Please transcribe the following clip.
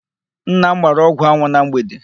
Nna m gbara ọgwụ anwụ na mgbede.